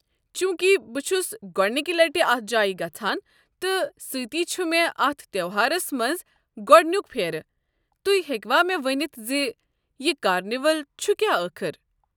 چوٗنٛکِہ بہٕ چھُس گۄڑنکہِ لٹہِ اتھ جایہِ گژھان تہٕ سۭتی چھُ مے٘ اتھ تیوہارس منٛز گو٘ڈنِیُک پھیرٕ، تُہۍ ہیكوا مے٘ ؤنِتھ زِ یہِ كارنِول چھُ كیٛاہ ٲخر؟